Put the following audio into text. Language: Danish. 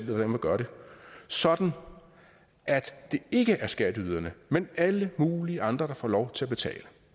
hvordan man gør det sådan at det ikke er skatteyderne men alle mulige andre der får lov til at betale